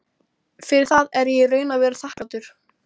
Fyrir það er ég í raun og veru þakklátur.